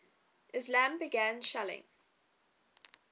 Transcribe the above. islami began shelling